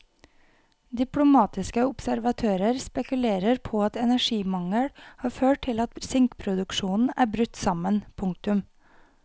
Diplomatiske observatører spekulerer på at energimangel har ført til at sinkproduksjonen er brutt sammen. punktum